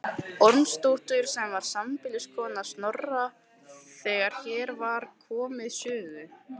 Ormsdóttur sem var sambýliskona Snorra þegar hér var komið sögu.